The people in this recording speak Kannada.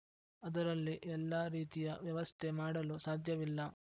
ಅದರಲ್ಲಿ ಎಲ್ಲಾ ರೀತಿಯ ವ್ಯವಸ್ಥೆ ಮಾಡಲು ಸಾಧ್ಯವಿಲ್ಲ